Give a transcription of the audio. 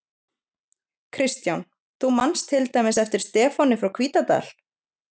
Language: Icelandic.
Kristján: Þú manst til dæmis eftir Stefáni frá Hvítadal?